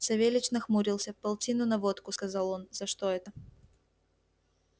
савельич нахмурился полтину на водку сказал он за что это